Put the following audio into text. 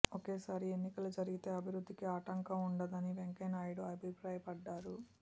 ఒకే సారి ఎన్నికలు జరిగితే అభివృద్ధికి ఆటంకం ఉండదని వెంకయ్యనాయుడు అభిప్రాయపడ్డారు